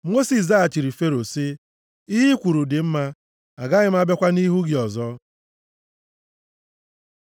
Mosis zaghachiri Fero sị, “Ihe i kwuru dị mma, agaghị m abịakwa nʼihu gị ọzọ.”